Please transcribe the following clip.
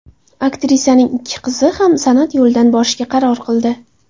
Aktrisaning ikki qizi ham san’at yo‘lidan borishga qaror qildi.